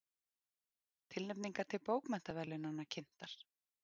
Tilnefningar til bókmenntaverðlaunanna kynntar